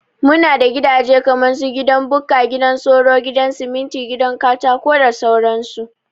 Muna da gidaje kaman su, gidan Bukka, gidan soro, gidan siminti, gidan Katako da sauran su